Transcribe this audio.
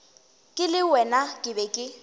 ke le wena ke be